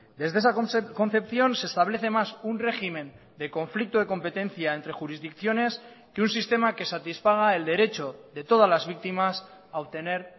desde esa concepción se establece más un régimen de conflicto de competencia entre jurisdicciones que un sistema que satisfaga el derecho de todas las víctimas a obtener